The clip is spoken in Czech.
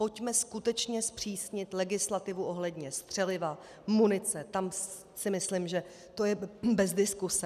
Pojďme skutečně zpřísnit legislativu ohledně střeliva, munice, tam si myslím, že to je bez diskuse.